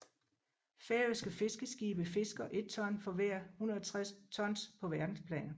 Færøske fiskeskibe fisker et ton for hver 160 tons på verdensplan